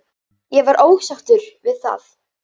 Ég var ósáttur við það.